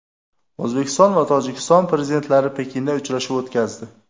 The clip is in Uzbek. O‘zbekiston va Tojikiston prezidentlari Pekinda uchrashuv o‘tkazdi.